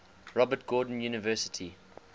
robert gordon university